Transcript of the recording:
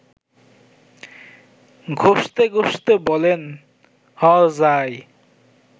ঘসতে ঘসতে বলেন–হ যাই